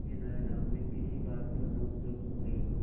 तेनालीराम में किसी बात पर नोकझोंक हो गई